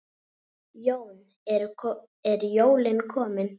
Jón: Eru jólin komin?